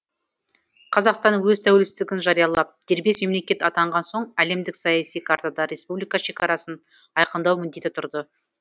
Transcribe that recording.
қазақстан өз тәуелсіздігін жариялап дербес мемлекет атанған соң әлемдік саяси картада республика шекарасын айқындау міндеті тұрды